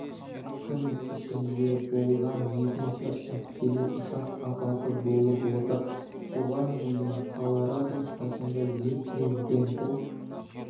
күн ішінде болған екінші әскери ұшақ апаты болып отыр бұған дейін колорадо штатында ел президенті